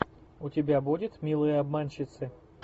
у тебя будет милые обманщицы